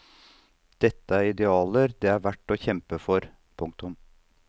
Dette er idealer det er verdt å kjempe for. punktum